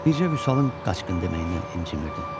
Bircə Vüsalın qaçqın deməyindən incimirdim.